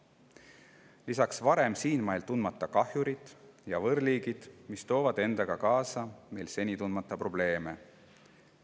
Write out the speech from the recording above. Lisaks sellele varem siinmail tundmatud kahjurid ja võõrliigid, kes toovad endaga kaasa meie jaoks seni tundmata probleeme.